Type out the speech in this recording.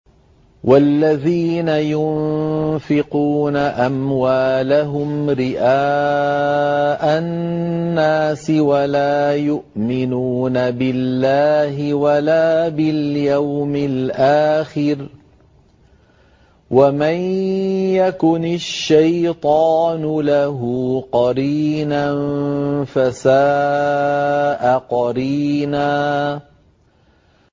وَالَّذِينَ يُنفِقُونَ أَمْوَالَهُمْ رِئَاءَ النَّاسِ وَلَا يُؤْمِنُونَ بِاللَّهِ وَلَا بِالْيَوْمِ الْآخِرِ ۗ وَمَن يَكُنِ الشَّيْطَانُ لَهُ قَرِينًا فَسَاءَ قَرِينًا